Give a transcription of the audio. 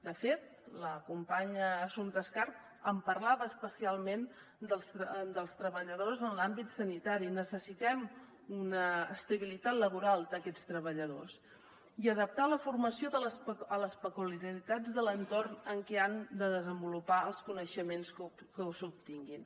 de fet la companya assumpta escarp parlava especialment dels treballadors en l’àmbit sanitari necessitem una estabilitat laboral d’aquests treballadors i adaptar la formació a les peculiaritats de l’entorn en què han de desenvolupar els coneixements que s’obtinguin